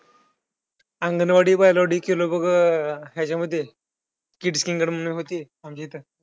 अंगणवाडी बालवाडी केलं बघ ह्यांच्यामध्ये